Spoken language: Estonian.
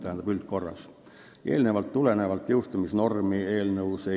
Eelnevast tulenevalt eelnõus jõustumisnormi ei sätestata.